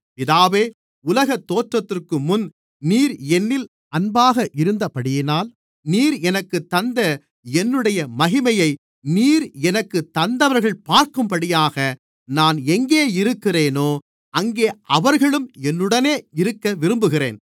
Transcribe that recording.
பிதாவே உலகத்தோற்றத்திற்கு முன் நீர் என்னில் அன்பாக இருந்தபடியினால் நீர் எனக்குத் தந்த என்னுடைய மகிமையை நீர் எனக்குத் தந்தவர்கள் பார்க்கும்படியாக நான் எங்கே இருக்கிறேனோ அங்கே அவர்களும் என்னுடனே இருக்கவிரும்புகிறேன்